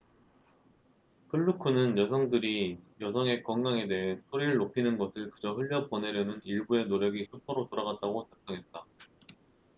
플루크fluke는 여성들이 여성의 건강에 대해 소리를 높이는 것을 그저 흘려보내려는 일부의 노력이 수포로 돌아갔다고 작성했다